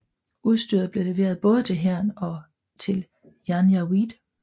Udstyret blev leveret både til hæren og til janjaweed